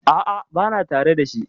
A'a, bana tare da shi.